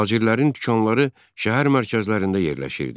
Tacirlərin dükanları şəhər mərkəzlərində yerləşirdi.